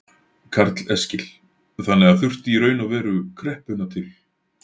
Karl Eskil: Þannig að það þurfti í raun og veru kreppuna til?